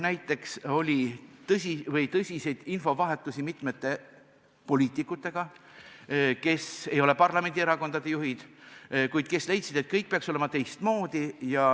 Näiteks oli tõsine infovahetus mitmete poliitikutega, kes ei ole parlamendierakondade juhid, kuid kes leidsid, et kõik peaks olema teistmoodi.